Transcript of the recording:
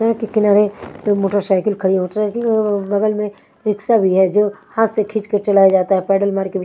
रक के किनारे मोटरसाइकिल खड़ी है मोटरसाइकिल के बगल में रिक्शा भी है जो हाथ से खींच कर चलाया जाता है पैडल मारके भी।